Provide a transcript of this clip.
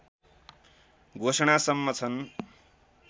घोषणासम्म छन्